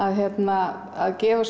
að gefa